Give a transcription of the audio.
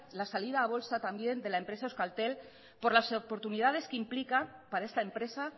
la salida a bolsa también de la empresa euskaltel por las oportunidades que implica para esta empresa